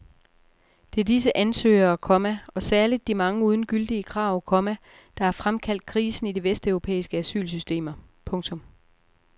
Det er disse ansøgere, komma og særligt de mange uden gyldige krav, komma der har fremkaldt krisen i de vesteuropæiske asylsystemer. punktum